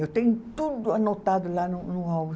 Eu tenho tudo anotado lá no no álbum.